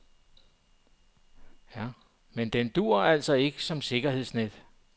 Men den dur altså ikke som sikkerhedsnet.